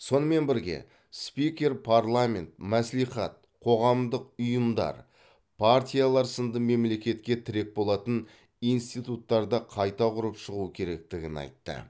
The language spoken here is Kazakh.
сонымен бірге спикер парламент мәслихат қоғамдық ұйымдар партиялар сынды мемлекетке тірек болатын институттарды қайта құрып шығу керектігін айтты